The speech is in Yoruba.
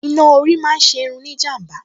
Iná orí máa ń ṣe irun ní ìjàm̀bá